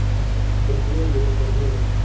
Þeir buðu mér upp á rif.